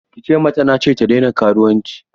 Ki ce mata na ce ta daina karuwanci!